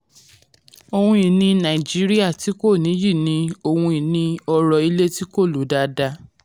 ohun ìní nàìjíríà tí kò nìyí ni ohun ìní ọ̀rọ̀ ilé tí kò lò dáadáa.